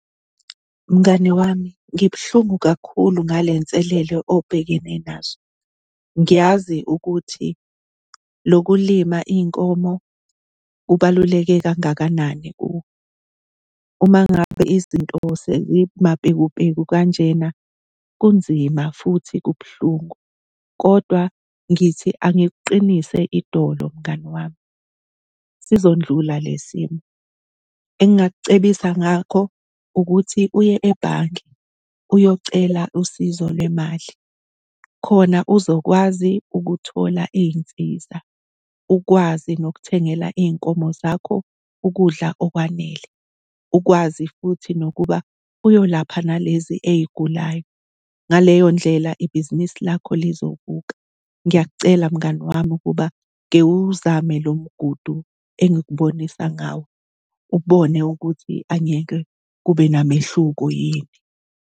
Mngani wami, ngibuhlungu kakhulu ngale nselelo obhekene nazo. Ngiyazi ukuthi lokulima iy'nkomo kubaluleke kangakanani kuwe. Uma ngabe izinto sezimapekupeku kanjena kunzima futhi kubuhlungu kodwa ngithi angikuqinise idolo mngani wami, sizondlula le simo. Engingakucebisa ngakho ukuthi uye ebhanki uyocela usizo lwemali khona uzokwazi ukuthola iy'nsiza, ukwazi nokuthengela iy'nkomo zakho ukudla okwanele, ukwazi futhi nokuba uyolapha nalezi ey'gulayo. Ngaleyo ndlela, ibhizinisi lakho lizovuka. Ngiyakucela mngani wami ukuba kewuwuzame lo mgudu engikubonisa ngawo, ubone ukuthi angeke kube namehluko yini.